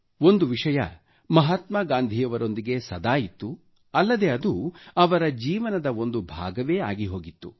ಒಂದು ವಿಷಯ ಮಹಾತ್ಮಾ ಗಾಂಧಿಯವರೊಂದಿಗೆ ಸದಾ ಇತ್ತು ಅಲ್ಲದೆ ಅದು ಅವರ ಜೀವನದ ಒಂದು ಭಾಗವೇ ಆಗಿ ಹೋಗಿತ್ತು